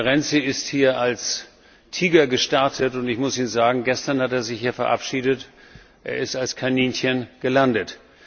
Herr Renzi ist hier als Tiger gestartet, und ich muss Ihnen sagen, gestern hat er sich hier verabschiedet, er ist als Kaninchen gelandet.